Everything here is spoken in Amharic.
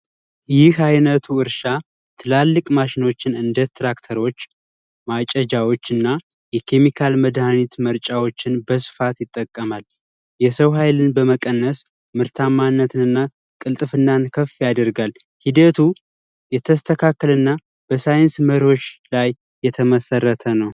ይህ አይነቱ እርሻ ትላልቅ ማሸኖችን እንደራክተሮች ማጨጃዎችንና የኬሚካል መርጫ መሳሪያዎችን በስፋት ይጠቀማል። የሰው ሀይልን በመቀነስ ምርታማነትንና ቅልጥፍናን ያሳድጋል፤ ሂደቱ የተስተካከለና በሳይንስ መርሆች ላይ የተመሰረተ ነው።